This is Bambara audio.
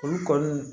Olu kɔni